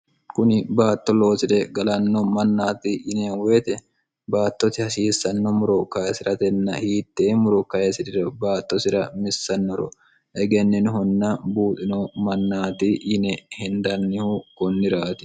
kuni baatto loosire galanno mannaati yine woyite baattosi hasiissanno muro kayisi'ratenna hiitteemmuro kayisi'rire baattosira missannoro egenninihunna buuxino mannaati yine hindannihu kunniraati